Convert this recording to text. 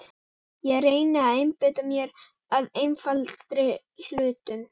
Ég reyni að einbeita mér að einfaldari hlutum.